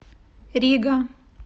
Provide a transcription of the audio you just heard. рига